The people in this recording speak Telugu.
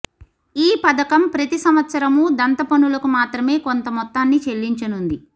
ఈ పథకం ప్రతి సంవత్సరము దంత పనులకు మాత్రమే కొంత మొత్తాన్ని చెల్లించనున్నది